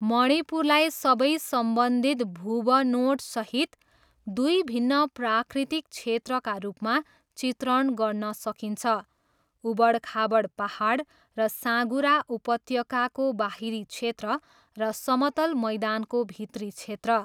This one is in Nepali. मणिपुरलाई सबै सम्बन्धित भूबनोटसहित दुई भिन्न प्राकृतिक क्षेत्रका रूपमा चित्रण गर्न सकिन्छ, उबडखाबड पाहाड र साँघुरा उपत्यकाको बाहिरी क्षेत्र, र समतल मैदानको भित्री क्षेत्र।